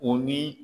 O ni